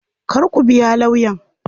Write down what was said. Kar ku biya lawyan.